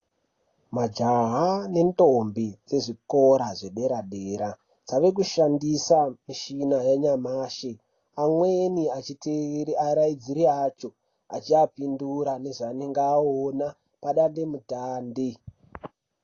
Majaha nendombi dzezvikora zvedera-dera dzava kushandisa michina yanyamashi amweni achitevera varairidzi acho achivapindura yezvavanenge vaona padande mutande.